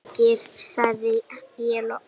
Gaukur líkir, sagði ég loks.